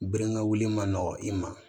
Gerenga wulili ma nɔgɔ i ma